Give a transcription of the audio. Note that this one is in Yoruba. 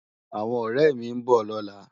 Áwòn òrè mi n bò lòlá